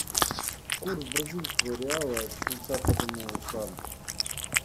курс бразильского реала к швейцарскому франку